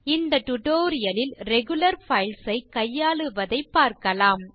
இந்த டியூட்டோரியல் லில் regular files ஐ கையாளுவதைப் பார்க்கலாம்